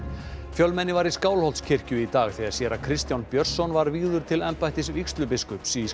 fjölmenni var í Skálholtskirkju í dag þegar séra Kristján Björnsson var vígður til embættis vígslubiskups í